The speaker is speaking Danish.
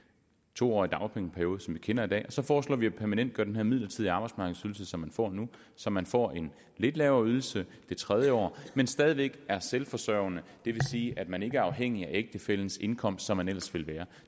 to årig dagpengeperiode som vi kender i dag og så foreslår vi at permanentgøre den her midlertidige arbejdsmarkedsydelse som man får nu så man får en lidt lavere ydelse det tredje år men stadig væk er selvforsørgende vil sige at man ikke er afhængig af ægtefællens indkomst som man ellers ville være